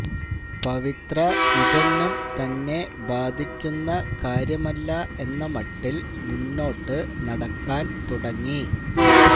പവിത്ര ഇതൊന്നും തന്നെ ബാധിക്കുന്ന കാര്യമല്ല എന്ന മട്ടിൽ മുന്നോട്ടു നടക്കാൻ തുടങ്ങി